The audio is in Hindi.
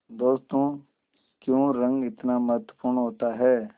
दोस्तों क्यों रंग इतना महत्वपूर्ण होता है